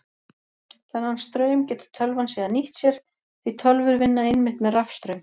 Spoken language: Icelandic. Þennan straum getur tölvan síðan nýtt sér því tölvur vinna einmitt með rafstraum.